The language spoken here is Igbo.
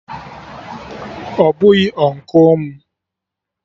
Ọ bụghị Ụnkụ m